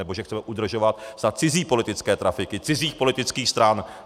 nebo že chceme udržovat snad cizí politické trafiky, cizích politických stran!